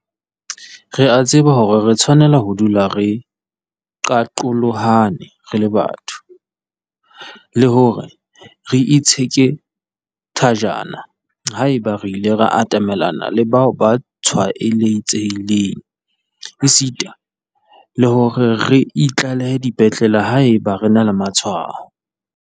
Re a tseba hore re tshwanela ho dula re qaqolohane re le batho, le hore re itsheke thajana haeba re ile ra atamelana le bao ba tshwaetsehileng esita le hore re itlalehe dipetlele haeba re na le matshwao.